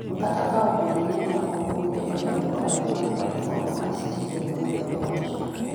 kata ka obedo ni ne okumgi odagi kwayo mar od fwambo mar Citizen wuoyo e wachno